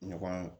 Ɲɔgɔn